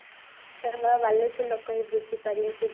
କେବଳ ବାଲେଶ୍ୱର ଲୋକ ହିଁ ବୁଝି ପାରିବେ ସେ